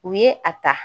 U ye a ta